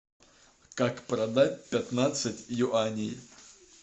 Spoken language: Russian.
как продать пятнадцать юаней